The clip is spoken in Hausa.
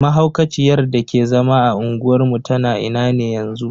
Mahaukaciyar dake zama a unguwar mu tana ina ne yanzu?